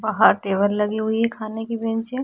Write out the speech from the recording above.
बाहर टेबल लगी हुई है खाने की बेंच हैं।